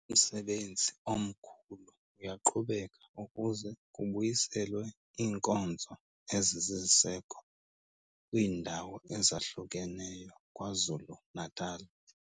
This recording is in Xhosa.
Umsebenzi omkhulu uyaqhubeka ukuze kubuyiselwe iinkonzo ezisisiseko kwiindawo ezahlukeneyo KwaZulu-Natal.